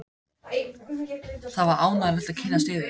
Það var ánægjulegt að kynnast yður.